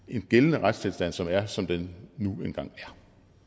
en gældende retstilstand som er som den nu engang er